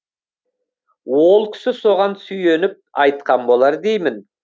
ол кісі соған сүйеніп айтқан болар деймін